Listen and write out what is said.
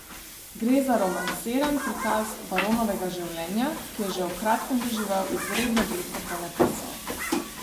Gre za romansiran prikaz baronovega življenja, ki je že v kratkem doživel izredno veliko ponatisov.